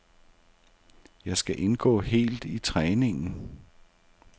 Jeg skal indgå helt i træningen.